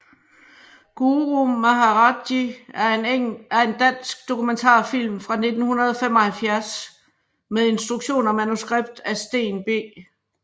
Guru Maharaj Ji er en dansk dokumentarfilm fra 1975 med instruktion og manuskript af Steen B